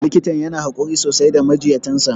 Likitan yana haƙuri sosai da majinyatan sa.